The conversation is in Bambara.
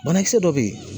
Banakisɛ dɔ bɛ yen